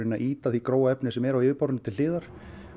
að ýta því grófa efni sem er á yfirborðinu til hliðar